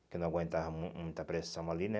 Porque eu não aguentava mui muita pressão ali, né?